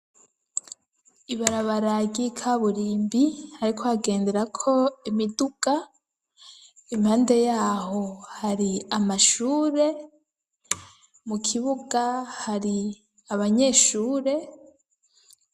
Ibarabara ryikaburimbi ariko hagendera ko imiduga impande yaho har'amashure, mu kibuga hari abanyeshure.